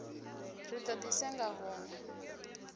ri do di senga hunwe